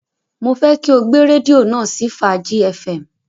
Mo fẹ́ kí o gbé rédíò náà sí Fàájí fm.